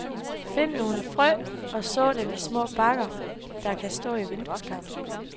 Find nogle frø, og så dem i små bakker, der kan stå i vindueskarmen.